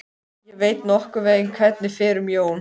Ég veit nokkurn veginn hvernig fer um Jón.